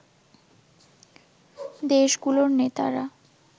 দেশগুলোর নেতারা